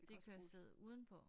Det kan også sidde udenpå